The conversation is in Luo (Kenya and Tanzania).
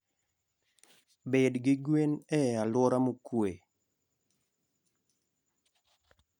Bed gi gwen e alwora mokuwe.